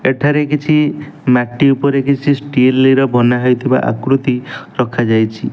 ଏଠାରେ କିଛି ମାଟି ଉପରେ କିଛି ଷ୍ଟିଲ ର ବନାହେଇଥିବା ଆକୃତି ରଖାଯାଇଛି।